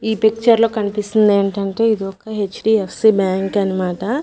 ఈ పిక్చర్ లో కన్పిస్తుందేంటంటే ఇది ఒక హెచ్_డి_ఎఫ్_సి బ్యాంక్ అన్నమాట.